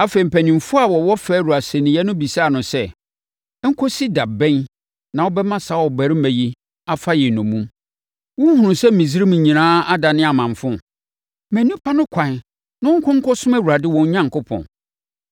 Afei, mpanimfoɔ a wɔwɔ Farao asɛnniiɛ no bɛbisaa no sɛ, “Nkɔsi da bɛn na wobɛma saa ɔbarima yi afa yɛn nnommum? Wonhunuu sɛ Misraim nyinaa adane amamfo? Ma nnipa no ɛkwan na wɔnkɔ nkɔsom Awurade wɔn Onyankopɔn!”